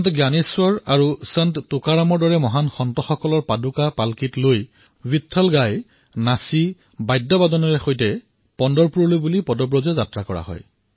সন্ত জ্ঞানেশ্বৰ আৰু সন্ত টুকাৰামৰ দৰে মহান সন্তৰ পাদুকা পাল্কিত থৈ গীত গাই নৃত্য কৰি পণ্টৰপুৰৰ দিশে যাত্ৰা কৰে